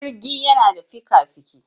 Jirgi yana da fika-fiki.